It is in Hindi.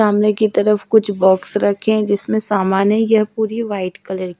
सामने की तरफ कुछ बॉक्स रखे जिसमें सामान है ये पूरी व्हाईट कलर --